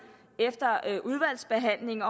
efter udvalgsbehandlingen